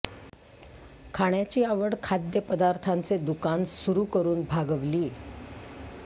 खाण्याची आवड खाद्य पदार्थान्चे दुकान सुरू करून भागवली